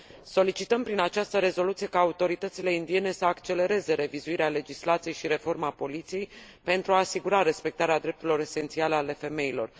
Solicităm, prin această rezoluție, ca autoritățile indiene să accelereze revizuirea legislației și reforma poliției, pentru a asigura respectarea drepturilor esențiale ale femeilor.